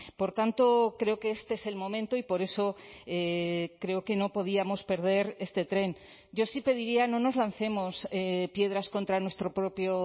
por tanto creo que este es el momento y por eso creo que no podíamos perder este tren yo sí pediría no nos lancemos piedras contra nuestro propio